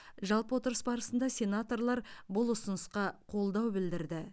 жалпы отырыс барысында сенаторлар бұл ұсынысқа қолдау білдірді